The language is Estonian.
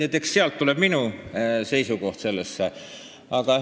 Nii et eks sealt tuleb välja minu seisukoht selle teema kohta.